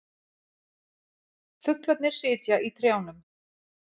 Fuglarnir sitja í trjánum.